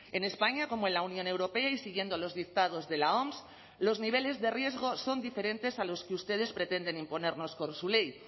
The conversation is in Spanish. en españa como en la unión europea y siguiendo los dictados de la oms los niveles de riesgo son diferentes a los que ustedes pretenden imponernos con su ley